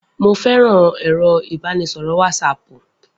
Mo féràn láti máa ẹ̀rọ ìbánisọ̀rọ̀ wọtísaàpù